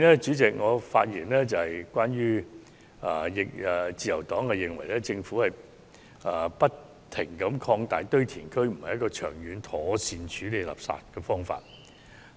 至於環境方面，自由黨認為政府不停擴大堆填區，並非長遠妥善處理垃圾問題的方法。